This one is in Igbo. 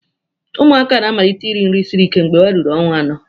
Ụmụaka na-amalite iri nri siri ike mgbe ha ruru ọnwa anọ.